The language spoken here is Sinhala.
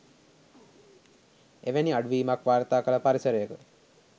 එවැනි අඩුවීමක් වාර්තා කළ පරිසරයක